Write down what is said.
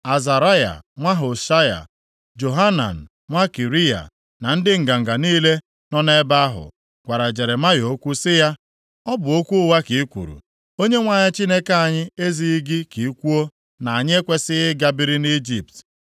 Azaraya nwa Hoshaya, Johanan nwa Kariya na ndị nganga niile nọ nʼebe ahụ, gwara Jeremaya okwu sị ya, “Ọ bụ okwu ụgha ka i kwuru! Onyenwe anyị Chineke anyị ezighị gị ka i kwuo na anyị ekwesighị ịga biri nʼIjipt,